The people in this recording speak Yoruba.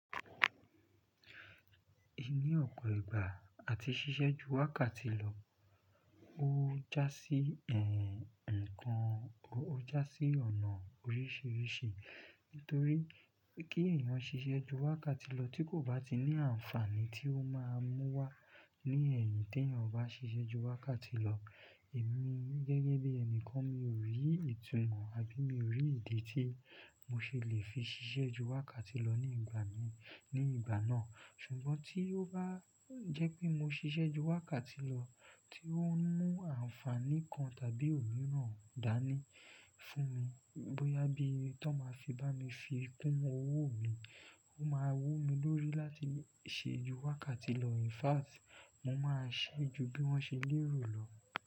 Ní ọ̀pọ̀ ìgbà àti ṣíṣẹ́ ju wákàtí lọ, ó já sí ẹ̀, nǹkan, ó já sí ọ̀nà oríṣìíríṣìí nítorí kí ẹ̀yàn ṣíṣe ju wákàtí lọ tí kò bá ti ní àǹfààní tí ó máa mú wá ní ẹ̀yìn tí èèyàn bá ṣese ju wákàtí lọ, èmi gẹ́gẹ́ bí ẹnìkan mi ò rí ìtumọ̀ àbí mi ò rí ìdí tí mo ṣe lè fi ṣiṣẹ́ ju wákàtí lọ ní ìgbà mi, ní ìgbà náà. Ṣùgbọ́n tí ó bá jẹ́ pé mo ṣiṣẹ́ ju wákàtí lọ tí ó ń mú àǹfààní kan tàbí òmíràn dání fún mi, bóyá bí i tó máa fi bá mi fi kún owó mi, ó máa wó mi lórí láti ṣe ju wákàtí lọ. In fact, mo máa ṣe ju bí wọ́n ṣe lérò lọ.